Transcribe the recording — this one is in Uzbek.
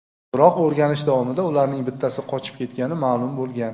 Biroq o‘rganish davomida ularning bittasi qochib ketgani ma’lum bo‘lgan.